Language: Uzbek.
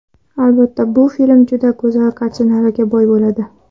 Albatta, bu film juda go‘zal kartinalarga boy bo‘ladi.